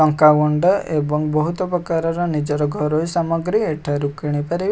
ଲଙ୍କା ଗୁଣ୍ଡ ଏବଂ ବହୁତ ପ୍ରକାରର ନିଜର ଘରୋଇ ସାମଗ୍ରୀ ଏଠାରୁ କିଣି ପାରିବେ।